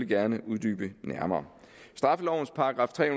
gerne uddybe nærmere straffelovens § tre